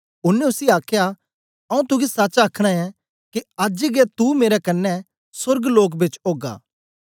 ओनें उसी आखया आऊँ तुगी सच आखना ऐं के अज्ज गै तू मेरे कन्ने सोर्गलोक बेच ओगा